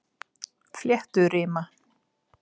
Flétturima